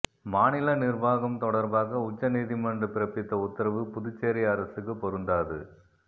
மாநில நிர்வாகம் தொடர்பாக உச்சநீதிமன்ற பிறப்பித்த உத்தரவு புதுச்சேரி அரசுக்கு பொருந்தாது